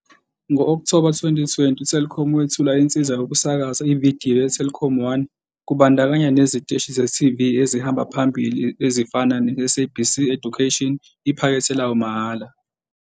Ngo-Okthoba 2020, uTelkom wethula insiza yokusakaza ividiyo yeTelkomONE kubandakanya neziteshi ze-TV ezihamba phambili ezifana neSABC Education iphakethe layo lamahhala.